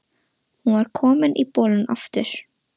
Hún var komin í bolinn aftur.